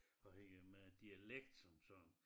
Afhængig af med dialekt som sådan